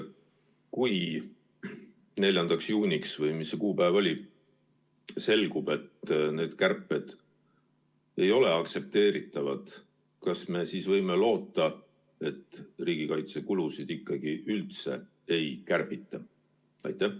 Kui 4. juuniks – või mis see kuupäev oli – selgub, et need kärped ei ole aktsepteeritavad, kas me siis võime loota, et riigikaitsekulusid üldse ei kärbita?